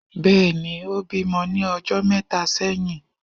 Bẹẹni, ìbímo ni ijó méta seyín